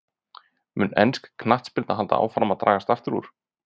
Mun ensk knattspyrna halda áfram að dragast aftur úr?